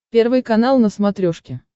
первый канал на смотрешке